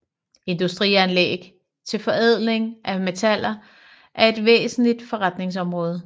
Industrianlæg til forædling af metaller er et væsentligt forretningsområde